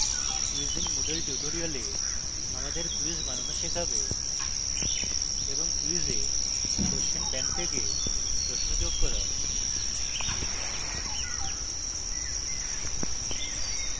quiz in moodle tutorial আমাদের quiz বানানো শেখাবে এবং